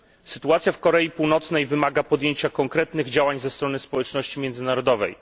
Sytuacja w Korei Północnej wymaga podjęcia konkretnych działań ze strony społeczności międzynarodowej.